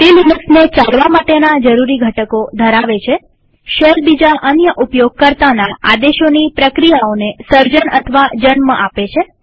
તે લિનક્સને ચલાવા માટેના જરૂરી ઘટકો ધરાવે છેશેલ બીજા અન્ય ઉપયોગકર્તાના આદેશોની પ્રક્રિયાઓને સર્જન અથવા જન્મ આપે છે